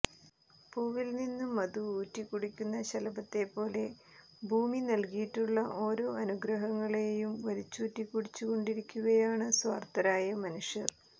പൂവിൽ നിന്ന് മധു ഊറ്റികുടിക്കുന്ന ശലഭത്തെ പോലെ ഭൂമി നൽകിയിട്ടുള്ള ഓരോ അനുഗ്രഹങ്ങളെയും വലിച്ചൂറ്റി കുടിച്ചു കൊണ്ടിരിക്കുകയാണ് സ്വാർത്ഥരായ മനുഷ്യർ